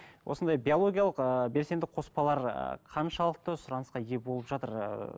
осындай биологиялық ыыы белсенді қоспалар қаншалықты сұранысқа иә болып жатыр ыыы